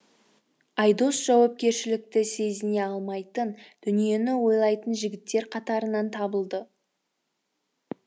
айдос жауапкершілікті сезіне алмайтын дүниені ойлатын жігіттер қатарынан табылды